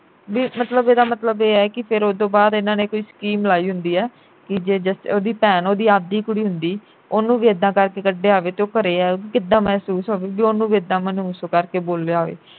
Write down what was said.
ਬਈ ਮਤਲਬ ਇਹਦਾਂ ਮਤਲਬ ਇਹ ਐ ਕਿ ਫਿਰ ਉਹ ਤੋਂ ਬਾਅਦ ਇਨ੍ਹਾਂ ਨੇ ਕੋਈ ਸਕੀਮ ਲਾਈ ਹੁੰਦੀ ਐ ਕਿ ਜੇ ਉਹਦੀ ਭੈਣ ਉਹਦੀ ਆਪ ਦੀ ਕੁੜੀ ਹੁੰਦੀ ਉਹਨੂੰ ਵੀ ਇੱਦਾਂ ਕਰਕੇ ਕੱਢਿਆ ਹੋਵੇ ਤੇ ਉਹ ਘਰੇ ਆਓ ਕਿੱਦਾਂ ਮਹਿਸੂਸ ਹੋਵੇ ਬਈ ਉਹਨੂੰ ਨੂੰ ਇੱਦਾਂ ਮਨਹੂਸ ਕਰਕੇ ਬੋਲਿਆ ਹੋਵੇ।